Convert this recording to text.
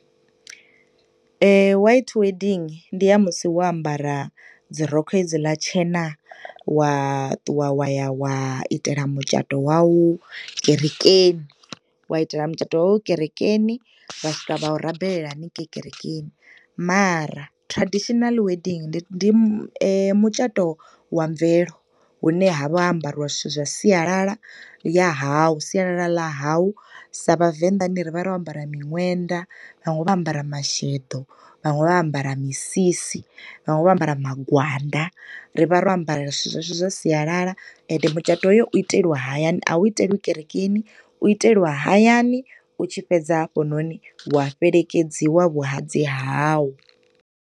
White wedding ndi ya musi wo ambara dzi rokho hedziḽa tshena, wa ṱuwa wa ya wa itela mutshato wawu kerekeni. Wa itela mutshato wawu kerekeni, vha swika vha u rabelela haningei kerekeni. Mara tradional wedding ndi ndi mutshato wa mvelo, hu ne ha vha ho ambariwa zwithu zwa sialala ya hau, siyalala ḽa hau, sa Vhavenḓani ri vha ro ambara miṅwenda, vhaṅwe vho ambara masheḓo, vhaṅwe vho ambara misisi, vhaṅwe vho ambara magwanda. Ri vha ro ambara zwithu zwashu zwa sialala, ende mutshato ho yo u iteliwa hayani, a u iteliwi kerekeni, u iteliwa hayani, u tshi fhedza hafhanoni, wa fhelekedziwa vhuhadzi hau.